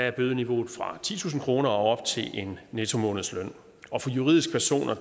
er bødeniveauet fra titusind kroner og op til en nettomånedsløn og for juridiske personer